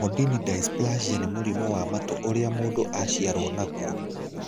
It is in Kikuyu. Mondini dysplasia nĩ mũrimũ wa matũ ũrĩa mũndũ aciarũo naguo.